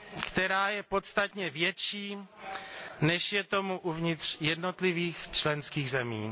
která je podstatně větší, než je tomu uvnitř jednotlivých členských zemí.